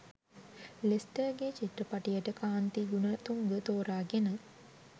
ලෙස්ටර්ගෙ චිත්‍රපටයට කාන්ති ගුණතුංග තෝරාගෙන